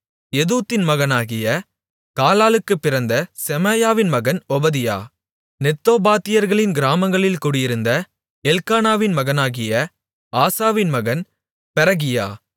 எதுத்தூனின் மகனாகிய காலாலுக்குப் பிறந்த செமாயாவின் மகன் ஒபதியா நெத்தோபாத்தியர்களின் கிராமங்களில் குடியிருந்த எல்க்கானாவின் மகனாகிய ஆசாவின் மகன் பெரகியா